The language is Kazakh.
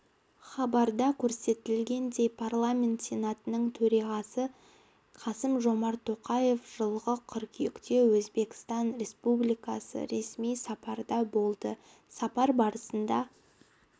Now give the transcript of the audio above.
хабарда көрсетілгендей парламент сенатының төрағасы қасым-жомарт тоқаев жылғы қыркүйекте өзбекстан республикасында ресми сапарда болды сапар барысында